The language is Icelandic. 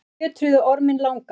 þeir fjötruðu orminn langa